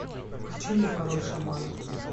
включи мне король шаманов